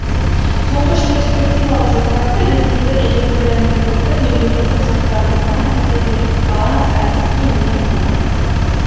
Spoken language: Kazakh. тұңғыш перспективалық жоспарды ресейді электрлендірудің мемлекеттің жоспарын жасаған кезде де баланс әдісі кеңінен қолданылды